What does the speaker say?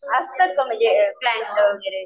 असतात का म्हणजे क्लाएंट वगैरे?